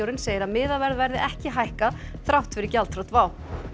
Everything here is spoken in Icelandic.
segir að miðaverð verði ekki hækkað þrátt fyrir gjaldþrot WOW